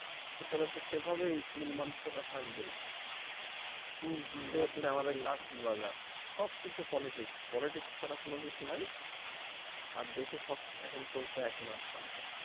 ভেতরে তো সেভাবেই মন-মানসিকতা থাকবেই এই হচ্ছে আমাদের চাকরির বাজার সবকিছু Politics Politics কোন কিছু নাই আর দেশে সব চলছে এখন একনায়কতন্ত্র।